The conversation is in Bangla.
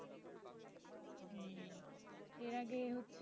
এর আগে এ হচ্ছে,